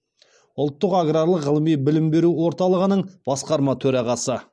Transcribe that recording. ұлттық аграрлық ғылыми білім беру орталығының басқарма төрағасы